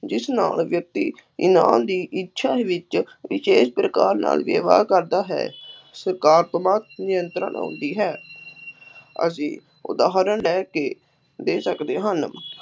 ਜਿਸ ਨਾਲ ਵਿਅਕਤੀ ਦੀ ਇੱਛਾ ਵਿੱਚ ਵਿਸ਼ੇਸ਼ ਪ੍ਰਕਾਰ ਨਾਲ ਵਿਵਹਾਰ ਕਰਦਾ ਹੈ ਨਿਯੰਤਰਣ ਆਉਂਦੀ ਹੈ ਅਸੀਂ ਉਦਾਹਰਨ ਲੈ ਕੇ ਦੇ ਸਕਦੇ ਹਨ